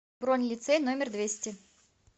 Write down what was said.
бронь лицей номер двести